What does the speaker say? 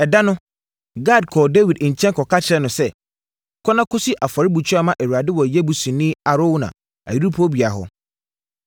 Ɛda no, Gad kɔɔ Dawid nkyɛn kɔka kyerɛɛ no sɛ, “Kɔ na kɔsi afɔrebukyia ma Awurade wɔ Yebusini Arauna ayuporobea hɔ.”